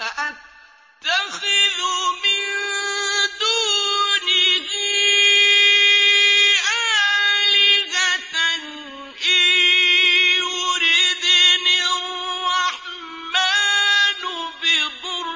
أَأَتَّخِذُ مِن دُونِهِ آلِهَةً إِن يُرِدْنِ الرَّحْمَٰنُ بِضُرٍّ